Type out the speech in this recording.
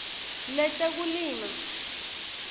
letekulima